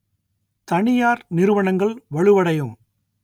தனியார் நிறுவனங்கள் வலுவடையும்